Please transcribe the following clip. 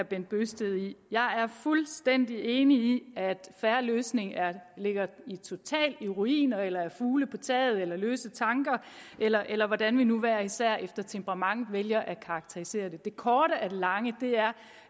bent bøgsted i jeg er fuldstændig enig i at en fair løsning ligger totalt i ruiner eller er fugle på taget eller er løse tanker eller eller hvordan vi nu hver især efter temperament vælger at karakterisere det det korte af det lange er